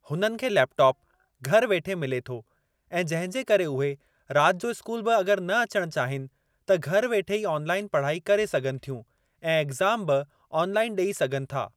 हुननि खे लेपटॉप घर वेठे मिले थो ऐं जंहिंजे करे उहे राति जो स्कूल बि अगर न अचणु चाहीनि त घरु वेठे ई ऑनलाइन पढ़ाई करे सघनि थियूं ऐं एग्ज़ाम बि ऑनलाइन ॾेई सघनि था।